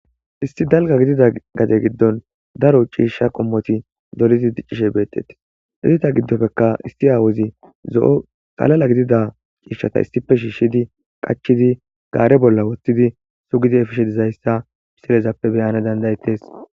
Isti dalga gidida gade giddon daro uciishsha qommoti dolidi diccishe beettetti irita giddopekka isti aawozi zo'o qalala gidida ciishshata istife shiishshidi qachidi gaare bolla woththidi sugidi efishedizayssa psilezappe beyana dandayettes.